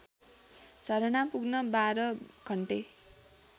झरना पुग्न १२ घन्टे